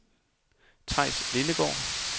Theis Lindegaard